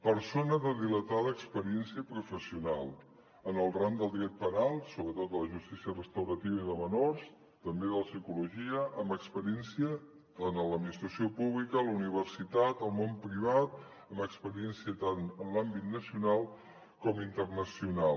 persona de dilatada experiència professional en el ram del dret penal sobretot de la justícia restaurativa i de menors també de la psicologia amb experiència a l’administració pública a la universitat al món privat amb experiència tant en l’àmbit nacional com internacional